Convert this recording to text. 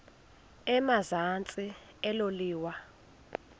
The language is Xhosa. emazantsi elo liwa